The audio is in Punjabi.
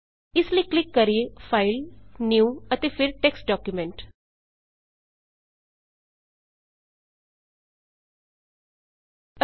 ਇਸ ਲਈ ਕਲਿੱਕ ਕਰੀਏ ਫਾਈਲ ਫਾਈਲ ਨਿਊ ਨਿਊ ਅਤੇ ਫੇਰ ਟੈਕਸਟ documentਟੈਕਸਟ ਡਾਕੂਮੈਂਟ